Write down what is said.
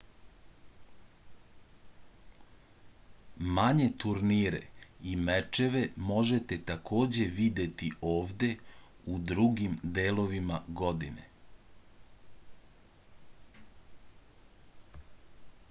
manje turnire i mečeve možete takođe videti ovde u drugim delovima godine